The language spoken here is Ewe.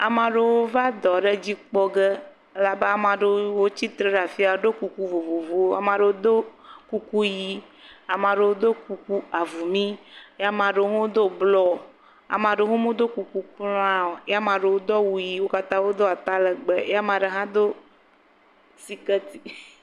Ame aɖewo va dɔ aɖe dzi kpɔ ge, abe ame aɖewo tsitre ɖe afi ya eye ame aɖewo ɖo kuku ʋi eye ame aɖewo ɖo kuku avumi eye ame aɖewo do blɔ eye ame aɖewo medo kuku kura o, eye wo katã wodo atalegbe ye ame aɖe do siketi.